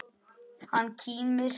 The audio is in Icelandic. Hann kímir.